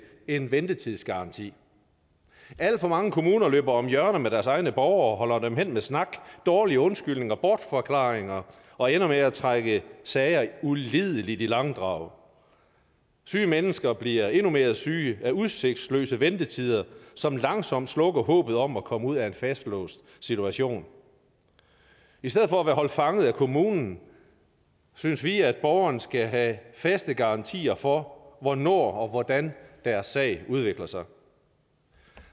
en ventetidsgaranti alt for mange kommuner løber om hjørner med deres egne borgere og holder dem hen med snak dårlige undskyldninger bortforklaringer og ender med at trække sager ulideligt i langdrag syge mennesker bliver endnu mere syge af udsigtsløse ventetider som langsomt slukker håbet om at komme ud af en fastlåst situation i stedet for at være holdt fanget af kommunen synes vi at borgerne skal have faste garantier for hvornår og hvordan deres sag udvikler sig